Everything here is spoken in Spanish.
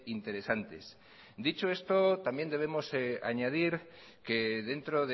interesantes dicho esto también debemos añadir que dentro